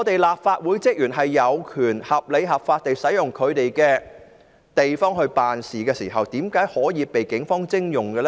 立法會職員有權合理、合法地使用他們的地方辦事，為何可以被警方徵用？